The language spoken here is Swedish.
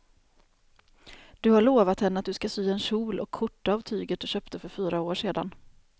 Du har lovat henne att du ska sy en kjol och skjorta av tyget du köpte för fyra år sedan.